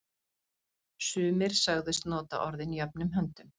Sumir sögðust nota orðin jöfnum höndum.